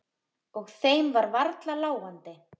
Og þeim var varla láandi.